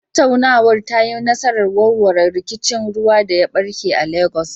Tattaunawar ta yi nasarar warware rikicin ruwa da ya barke a Legas.